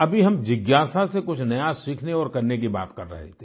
अभी हम जिज्ञासा से कुछ नया सीखने और करने की बात कर रहे थे